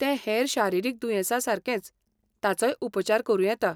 तें हेर शारिरीक दुयेंसा सारकेंच, ताचोय उपचार करूं येता.